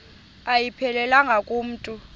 ayiphelelanga ku mntu